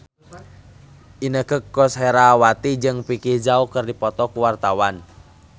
Inneke Koesherawati jeung Vicki Zao keur dipoto ku wartawan